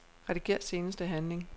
Rediger seneste handling.